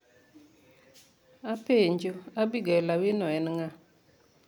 Apenjo, Abigail Awino en ng'a?